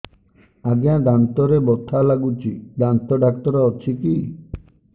ଆଜ୍ଞା ଦାନ୍ତରେ ବଥା ଲାଗୁଚି ଦାନ୍ତ ଡାକ୍ତର ଅଛି କି